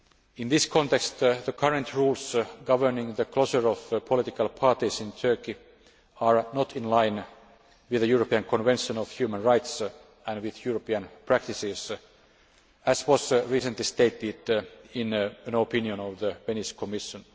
Court. In this context, the current rules governing the closure of political parties in Turkey are not in line with the European Convention of Human Rights and with European practices, as was recently stated in an opinion of the Venice Commission.